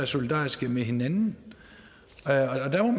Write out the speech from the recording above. solidarisk med hinanden